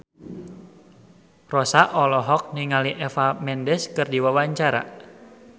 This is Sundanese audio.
Rossa olohok ningali Eva Mendes keur diwawancara